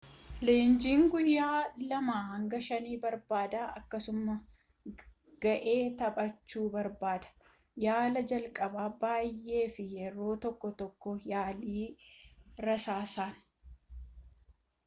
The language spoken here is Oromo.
leenjiin guyyaa 2-5 barbaada akkasuma ga'ee taphachuu barbaada yaalaa jalqaba baay'ee fi yeroo tokko tokkoo yaalii rasaasaas